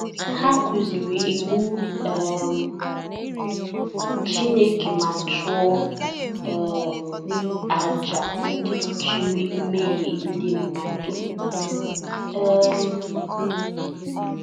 Ha kụziri Iwu um Chineke ma chụọ um àjà ndị kpuchiri mmehie ndị mmadụ. um